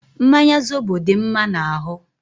Mmanya zobo dị mma n'ahụ.